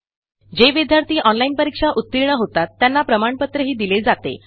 जे विद्यार्थी ऑनलाईन परीक्षा उत्तीर्ण होतात त्यांना प्रमाणपत्रही दिले जाते